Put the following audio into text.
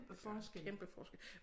Det gør en kæmpe forskel